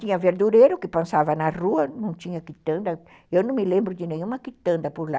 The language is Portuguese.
Tinha verdureiro que passava na rua, não tinha quitanda, eu não me lembro de nenhuma quitanda por lá.